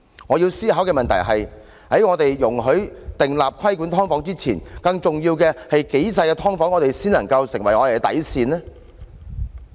我要思考的問題是，在我們訂立規管"劏房"的條例前，更重要的是，多細小的"劏房"才是我們的底線呢？